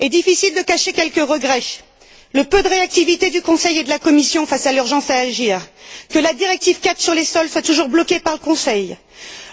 Il est difficile de cacher quelques regrets le peu de réactivité du Conseil et de la Commission face à l'urgence à agir, le regret que la directive IV sur les sols soit toujours bloquée par le Conseil,